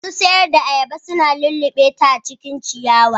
Masu sayar da ayaba su na lullubeta a cikin ciyawa.